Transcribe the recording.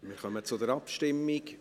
Wir kommen zur Abstimmung.